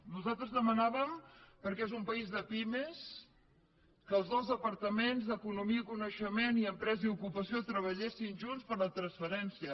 nosaltres demanàvem perquè és un país de pimes que els dos departaments d’economia i coneixement i d’empresa i ocupació treballessin junts per la transferència